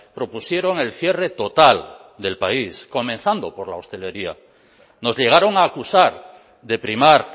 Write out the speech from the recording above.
propusieron el cierre total del país comenzando por la hostelería nos llegaron a acusar de primar